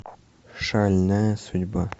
шальная судьба